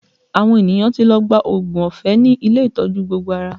Àwọn ènìyàn ti lọ gba oògùn ọ̀fẹ́ ní ilé ìtọ́jú gbogbo ara